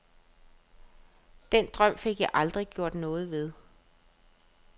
Den drøm fik jeg aldrig gjort noget ved.